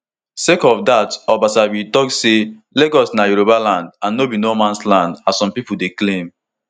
sake of dat obasa bin tok say lagos state na yoruba land and no be no mans land as some pipo dey claim